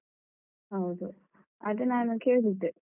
ಹೌದು ಅದು ನಾನು ಕೇಳಿದ್ದೆ.